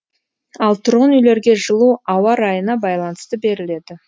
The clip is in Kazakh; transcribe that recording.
ал тұрғын үйлерге жылу ауа райына байланысты беріледі